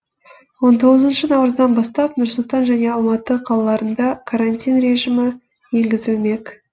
он тоғызыншы наурыздан бастап нұр сұлтан және алматы қалаларында карантин режимі енгізілмек